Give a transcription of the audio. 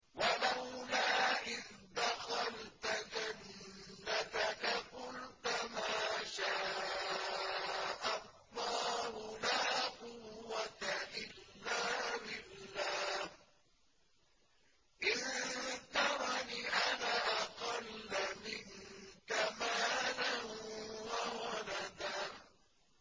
وَلَوْلَا إِذْ دَخَلْتَ جَنَّتَكَ قُلْتَ مَا شَاءَ اللَّهُ لَا قُوَّةَ إِلَّا بِاللَّهِ ۚ إِن تَرَنِ أَنَا أَقَلَّ مِنكَ مَالًا وَوَلَدًا